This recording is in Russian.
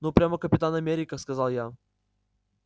ну прямо капитан америка сказал я